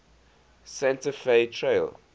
santa fe trail